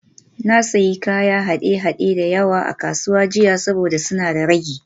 Na sayi kayan haɗe-haɗe da yawa a kasuwa jiya saboda suna da ragi